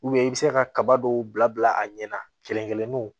i bɛ se ka kaba dɔw bila bila a ɲɛ na kelen kelenw